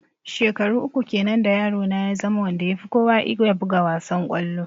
Shekaru uku kenan da yaro na ya zama wanda ya fi kowa iya buga wassan kollo.